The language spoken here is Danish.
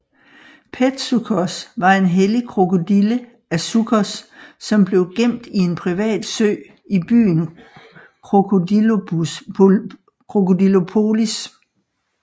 Petsuchos var en hellig krokodille af Suchos som blev gemt i en privat sø i byen Crocodilopolis